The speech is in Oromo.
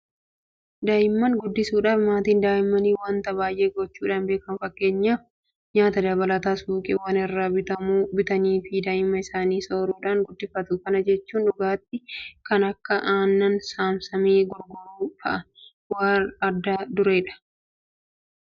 Daa'imman guddisuudhaaf maatiin Daa'immanii waanta baay'ee gochuudhaan beekamu. Fakkeenyaaf nyaata dabalataa suuqiiwwan irraa bitamu bitaniifii Daa'imman isaanii sooruudhaan guddifatu. Kana jechuun dhugaatii kan akka Aannan Saamsamee gurguramu fa'aa warra adda dureedha. Daa'imman kana argatanis baay'ee fayyadamoodha.